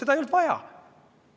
Seda ei olnud vaja.